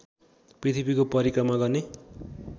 पृथ्वीको परिक्रमा गर्ने